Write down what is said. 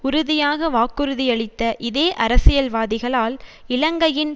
உறுதியாக வாக்குறுதியளித்த இதே அரசியல்வாதிகளால் இலங்கையின்